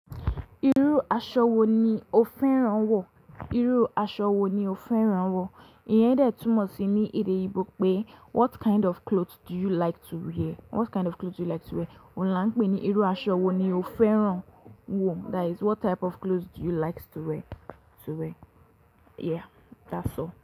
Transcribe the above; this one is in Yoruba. Irú aṣọ wo ni o fẹ́ran wọ̀? Irú aṣọ wo ni o fẹ́ran wọ̀? Iyẹn ń dẹ̀ túmọ̀ sí ní èdè Igbo pé what kind of clothes do you like to wear? What kind of clothes do you like to wear? Òun là ń pè ní irú aṣọ wo ni o fẹ́ran wọ̀? That is what type of clothes do you likes to wear, to wear? Yeah, that's all.